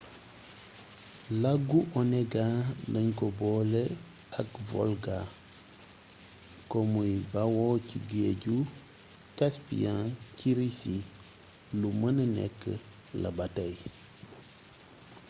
lagu onega dañ ko boole ak volga ko muy bawoo ci géeju caspiyan ci risi lu mëna nekk la ba tey